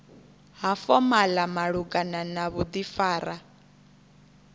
ha fomala malugana na vhudifari